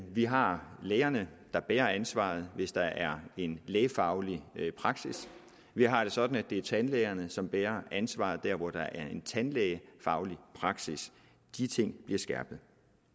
vi har lægerne der bærer ansvaret hvis der er en lægefaglig praksis vi har det sådan at det er tandlægerne som bærer ansvaret hvor der er en tandlægefaglig praksis de ting bliver skærpet